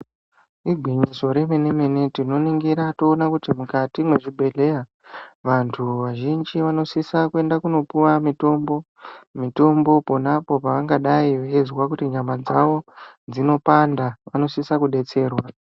Igwinyiso remene mene tinoningira toona kuti mukati mwezvibhehleya vantu vazhinji vanosisa kuenda kunopuwa mitombo mitombo pona apa pangadei veinzwa nyama dzavo dzinopanda vanosisa kudetserwa.